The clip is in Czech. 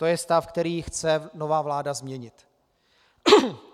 To je stav, který chce nová vláda změnit.